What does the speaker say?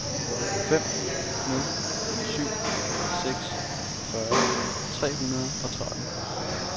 fem nul syv seks fyrre tre hundrede og tretten